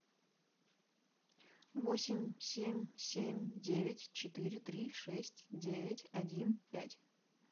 восемь семь семь девять четыре три шесть девять один пять